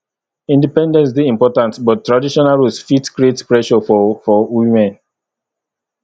independence dey important but traditional roles fit create pressure for for women